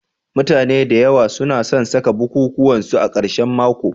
Mutane da yawa su na san saka bukukuwan su a karshen mako